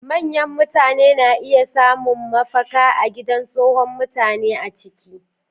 Manyan mutane na iya samun mafaka a Gidan Tsohon Mutane a ciki.